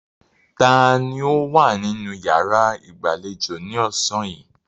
Taani ó wà nínú yàrá ìgbàlejò ni ọ̀sán yìí?